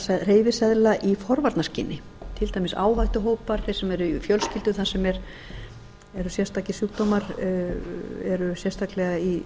á hreyfiseðla í forvarnaskyni til dæmis áhættuhópa þeir sem eru í fjölskyldum þar sem eru sérstakir sjúkdóma eru sérstaklega í